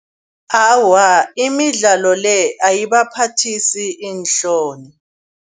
Awa imidlalo le ayibaphathisi iinhloni.